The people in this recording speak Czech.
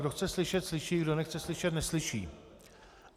Kdo chce slyšet, slyší, kdo nechce slyšet, neslyší.